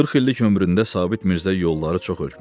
Qırx illik ömründə Sabit Mirzə yolları çox ötmüşdü.